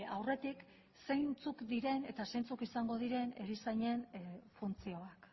aurretik zeintzuk diren eta zeintzuk izango diren erizainen funtzioak